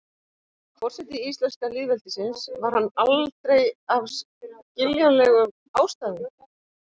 forseti íslenska lýðveldisins var hann aldrei af skiljanlegum ástæðum